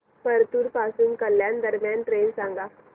परतूर पासून कल्याण दरम्यान ट्रेन सांगा